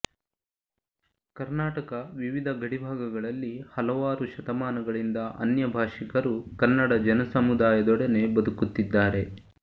ಕರ್ನಾಟಕ ವಿವಿಧ ಗಡಿಭಾಗಗಳಲ್ಲಿ ಹಲವಾರು ಶತಮಾನಗಳಿಂದ ಅನ್ಯ ಭಾಷಿಕರು ಕನ್ನಡ ಜನಸಮುದಾಯದೊಡನೆ ಬದುಕುತ್ತಿದ್ದಾರೆ